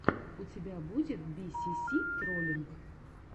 у тебя будет би си си троллинг